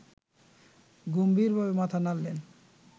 গম্ভীরভাবে মাথা নাড়লেন